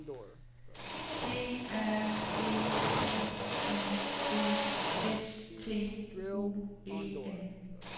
D A G L I G S T U E N